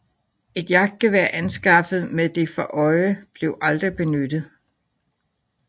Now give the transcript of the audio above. Et jagtgevær anskaffet med det for øje blev aldrig benyttet